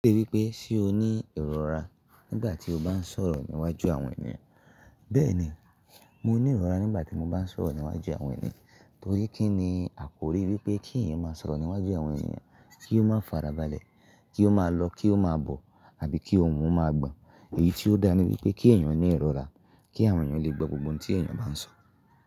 Ó wí pé ṣé o ní ìrora nígbà tí o bá ń sọ̀rọ̀ níwájú àwọn ènìyàn? Bẹ́ẹ̀ni, mo ní ìrora nígbà tí mo bá ń sọ̀rọ̀ níwájú àwọn ènìyàn torí kí ni? Àkórí wípé kí ẹ̀yàn máa sọ̀rọ̀ níwájú àwọn ènìyàn, kí ó máa farabalẹ̀, kí ó máa lọ, kí ó máa bọ̀ àbí kí ohùn wọn máa gbọn. Èyí tí ó dá ni wípé kí ẹ̀yàn ní ìrora, kí àwọn ènìyàn lè gbọ́ gbogbo ohun tí ẹ̀yàn bá ń sọ.